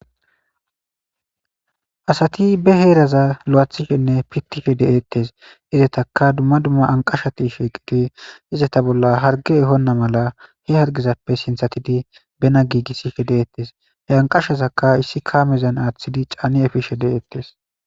Assati bee herazza lo'athishenne pitishe detessi. Etaka duma duma aniqashati shiqidi izata bolla harige ehona mela sinthatidi bena gigishe detesi he anqashazaka issi kamezani athidi efishe detesi.